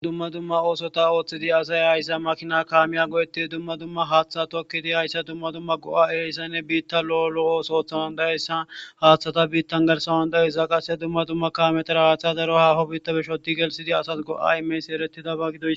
dumma dumma oosota ooththidi asay hayssa makina kaamiya go7etti dumma dumma haaththa tokkidi hayssa dumma dumma go7a eeyssanne biitta lo7olo ooso ooththawan dayessan haaththata biittan garsawan dayisza qasse dumma dumma ka metra haaththa daro haaho biitta bishodi gelsidi asas go7aimes ereti dabagido